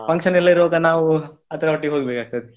Function ಎಲ್ಲ ಇರುವಾಗ ನಾವು ಅದರೊಟ್ಟಿಗೆ ಹೋಗ್ಬೇಕಾಗ್ತದೆ.